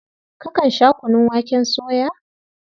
Kakan sha kunun waken soya?